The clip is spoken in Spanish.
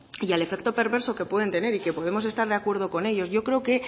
y al efecto perverso que pueden tener y que podemos estar de acuerdo con ello yo creo que